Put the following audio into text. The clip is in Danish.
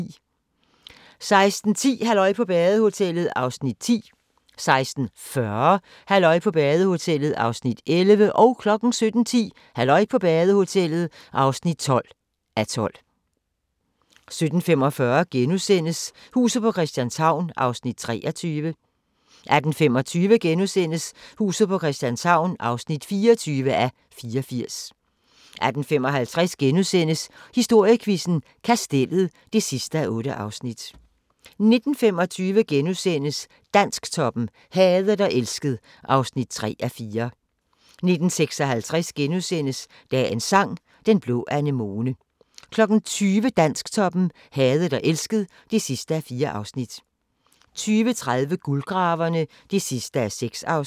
16:10: Halløj på badehotellet (10:12) 16:40: Halløj på badehotellet (11:12) 17:10: Halløj på badehotellet (12:12) 17:45: Huset på Christianshavn (23:84)* 18:25: Huset på Christianshavn (24:84)* 18:55: Historiequizzen: Kastellet (8:8)* 19:25: Dansktoppen: Hadet og elsket (3:4)* 19:56: Dagens Sang: Den blå anemone * 20:00: Dansktoppen: Hadet og elsket (4:4) 20:30: Guldgraverne (6:6)